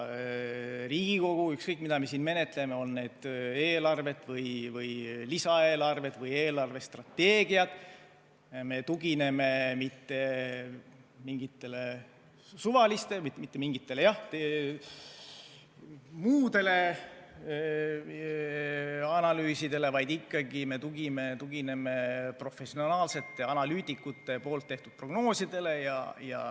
Riigikogu, ükskõik, mida me siin menetleme, on need eelarved või lisaeelarved või eelarvestrateegiad, ei tugine mitte mingitele suvalistele muudele analüüsidele, vaid me ikkagi tugineme professionaalsete analüütikute tehtud prognoosidele.